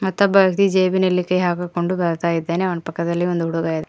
ಮತ್ತೊಬ್ಬ ವ್ಯಕ್ತಿ ಜೇಬಿನಲ್ಲಿ ಕೈ ಹಾಕಿ ಕೊಂಡು ಬರ್ತಾ ಇದ್ದಾನೆ ಅವನ ಪಕ್ಕದಲ್ಲಿ ಒಂದು ಹುಡುಗ --